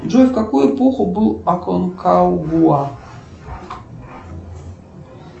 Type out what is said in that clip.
джой в какую эпоху был аконкагуа